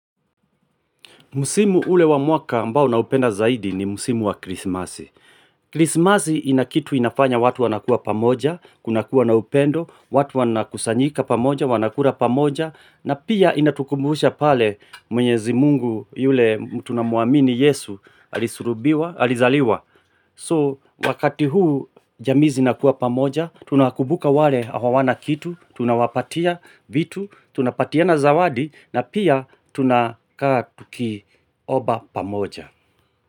Musimu ule wa mwaka ambao ninao upenda zaidi ni musimu wa krisimasi. Krisimasi inakitu inafanya watu wanakua pamoja, kunakua na upendo, watu wanakusanyika pamoja, wanakura pamoja, na pia inatukumbusha pale mwenyezi mungu yule tunamuamini yesu alisulubiwa alizaliwa. So wakati huu jamii zinakua pamoja, tunaokumbuka wale hawana kitu, tunawapatia vitu, tunapatiana zawadi, na pia tunakaa tuki omba pamoja.